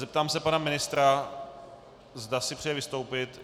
Zeptám se pana ministra, zda si přeje vystoupit.